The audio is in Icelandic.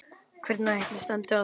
Hvernig ætli standi á því?